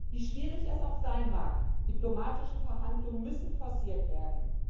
Wie schwierig es auch sein mag, diplomatische Verhandlungen müssen forciert werden.